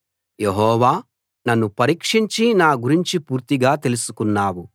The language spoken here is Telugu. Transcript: యెహోవా నన్ను పరీక్షించి నా గురించి పూర్తిగా తెలుసుకున్నావు